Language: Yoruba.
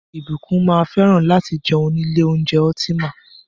Ìbùkún máa fẹ́ràn láti jẹun ní ilé oúnjẹ Ultima.